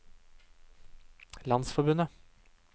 landsforbundet